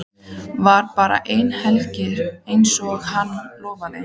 Var bara eina helgi einsog hann lofaði.